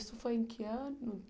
Isso foi em que ano?